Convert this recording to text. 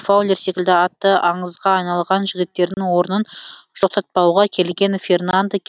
фаулер секілді аты аңызға айналған жігіттердің орнын жоқтатпауға келген фернандо